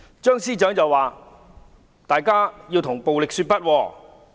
張司長說要向暴力說不。